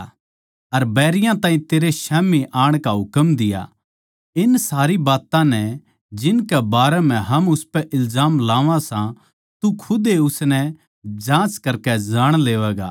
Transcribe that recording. अर बैरियाँ ताहीं तेरै स्याम्ही आण का हुकम दिया इन सारी बात्तां नै जिनकै बारै म्ह हम उसपै इल्जाम लावां सां तू खुदे ए उसनै जाँच करकै जाण लेवैगा